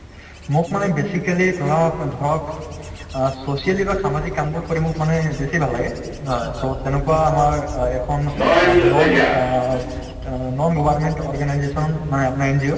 মোক মানে basically ধৰক ধৰক অ socially বা সামাজিক কামবোৰ কৰি মোক মানে বেছি ভাল লাগে so তেনেকুৱা আমাৰ অ এখন অ non অ ত non government organization মানে আপোনাৰ NGO